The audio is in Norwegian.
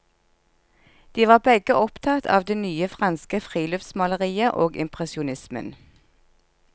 De var begge opptatt av det nye franske friluftsmaleriet og impresjonismen.